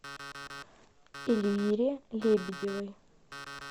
эльвире лебедевой